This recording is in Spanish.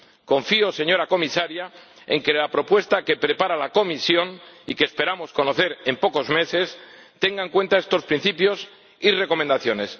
Confío, señora Comisaria, en que la propuesta que prepara la Comisión y que esperamos conocer en pocos meses tenga en cuenta estos principios y recomendaciones.